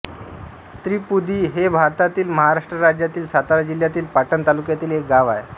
त्रिपुदी हे भारतातील महाराष्ट्र राज्यातील सातारा जिल्ह्यातील पाटण तालुक्यातील एक गाव आहे